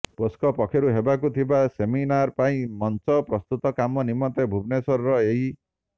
POSCO ପକ୍ଷରୁ ହେବାକୁ ଥିବା ସେମିନାର ପାଇଁ ମଂଚ ପ୍ରସ୍ତୁତ କାମ ନିମନ୍ତେ ଭୁବନେଶ୍ୱର ଏହି